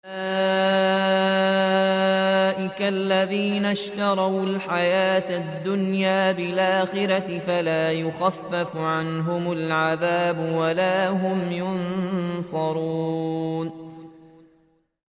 أُولَٰئِكَ الَّذِينَ اشْتَرَوُا الْحَيَاةَ الدُّنْيَا بِالْآخِرَةِ ۖ فَلَا يُخَفَّفُ عَنْهُمُ الْعَذَابُ وَلَا هُمْ يُنصَرُونَ